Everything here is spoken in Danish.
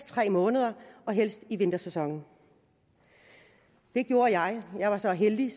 tre måneder og helst i vintersæsonen det gjorde jeg og jeg var så heldig